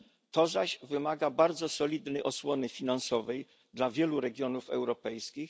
To zaś wymaga bardzo solidnej osłony finansowej dla wielu regionów europejskich.